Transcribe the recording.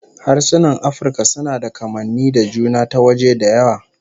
Harsunan Afirka suna da kamanni da juna ta waje da yawa